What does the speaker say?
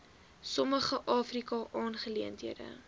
sommige afrika aangeleenthede